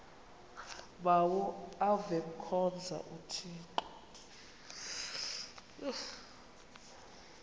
bawo avemkhonza uthixo